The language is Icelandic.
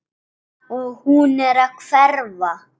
Og hún er að hverfa.